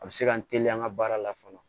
A bɛ se ka n teliya an ka baara la fɔlɔ